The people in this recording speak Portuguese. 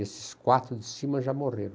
Esses quatro de cima já morreram.